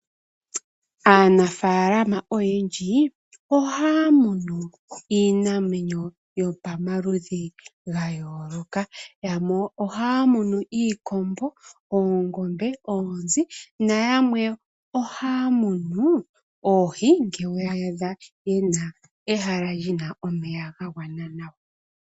Aanafaalama oyendji ohaya munu iinamwenyo yopamaludhi ga yooloka. Yamwe ohaya munu iikombo , oongombe, oonzi, nayamwe ohaya munu oohi ngele ye na ehala li na omeya ga gwana nawa.